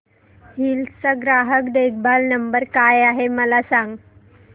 hills चा ग्राहक देखभाल नंबर काय आहे मला सांग